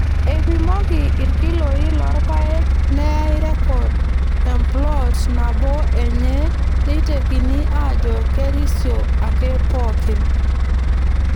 Eipimoki irkiloi loo rpayek neyai rrekod emploot nabo enye neitekini aajo kerisio ake pookin.